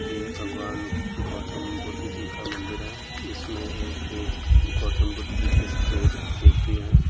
ये भगवान गौतम बुद्ध जी का मंदिर है। इसमे एक गौतम बुद्ध जी की सफ़ेद मूर्ति है।